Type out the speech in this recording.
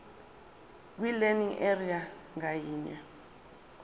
kwilearning area ngayinye